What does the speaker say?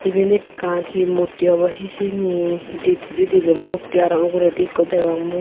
iben ekkan hi murti obo hijeni di hittedi dibey mukti aro uguredi ikko degong mui.